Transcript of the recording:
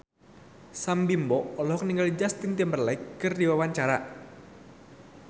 Sam Bimbo olohok ningali Justin Timberlake keur diwawancara